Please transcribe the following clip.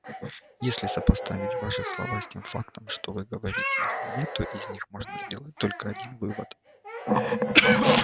если сопоставить ваши слова с тем фактом что вы говорите их мне то из них может следовать только один вывод